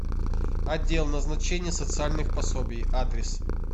отдел назначения социальных пособий адрес